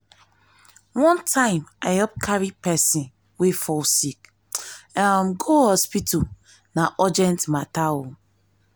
one time i help carry person wey fall sick um go hospital na urgent matter o.